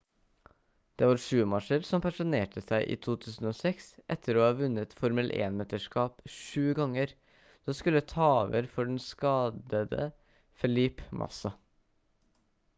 det var schumacher som pensjonerte seg i 2006 etter å ha vunnet formel 1-mesterskap sju ganger som skulle ta over for den skadde felipe massa